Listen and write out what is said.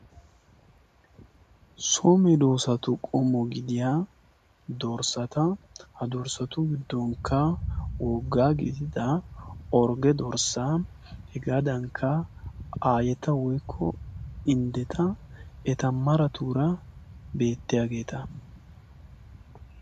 so medoosatu qommo gidiyaa dorssata ha dorssatu giddonkka wogga gidida orgge dorssaa hegaadankka aayeta woykko inddeta eta maratuura beettiyaageeta